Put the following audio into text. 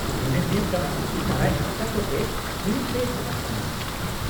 -ᱢᱚᱱᱮ ᱦᱩᱭᱩᱜ ᱠᱟᱱᱟ ᱫᱟᱨᱟᱭ ᱦᱟᱯᱛᱟ ᱠᱚᱛᱮ ᱦᱩᱭᱩᱜ ᱛᱮ ᱪᱟᱞᱟᱜ ᱠᱟᱱᱟ ᱾